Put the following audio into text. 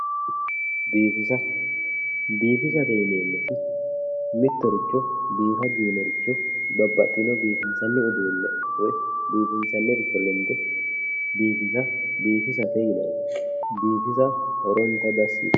Biinfile, biinfile yineemmo woyte mittoricho biifa giwinore babbaxino biifinsani uduune wole lende biifisa biifissate yinanni biifissa horontanni dasi yitano.